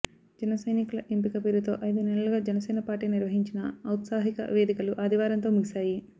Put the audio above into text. జనసైనికుల ఎంపిక పేరుతో ఐదు నెలలుగా జనసేన పార్టీ నిర్వహించిన ఔత్సాహిక వేదికలు ఆదివారంతో ముగిశాయి